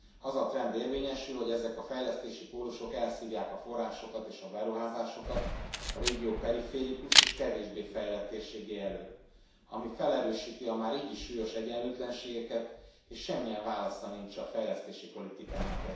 Az a trend érvényesül, hogy ezek a fejlesztési pólusok elszívják a forrásokat és a beruházásokat a régió periférikus és kevésbé fejlett térségei elől, ami felerősíti a már így is súlyos egyenlőtlenségeket és erre semmilyen válasza nincs a fejlesztési politikának.